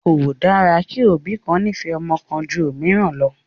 Kò dára kí òbí kan nífẹ̀ẹ́ ọmọ kan ju òmíràn lọ